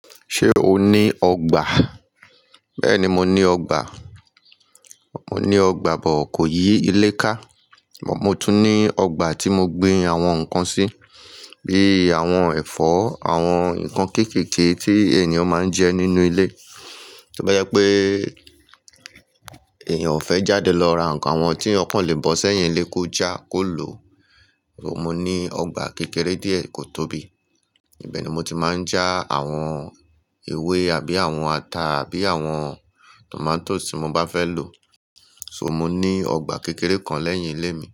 Ṣé o ní ọgbà? Bẹ́ẹ̀ni, mo ní ọgbà. Mo ní ọgbà bọ̀ kò yí ilé ká, mo tún ní ọgbà tí mo gbin àwọn nǹkan sí, bíi àwọn ẹ̀fọ́, àwọn nǹkan kéékèèké tí ènìyàn máa ń jẹ nínú ilé. To bá jẹ pé èeyàn fẹ́ jáde lọ ra nǹkan, àwọn tí eeyan kan lè bọ́ sẹ́yìn ilé kó já, kó lò, mo ní ọgbà kékeré díẹ̀ kò tóbi, ibẹ̀ ni mo ti máa ń já àwọn ewé àbí àwọn ata àbí àwọn tòmátós ti mo bá fẹ́ lò. So mo ní ọgbà kékeré kan lẹ́yìn ilé mi.